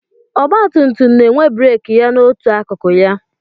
Ọgbatumtum na-enwe breeki ya n'otu akụkụ ya.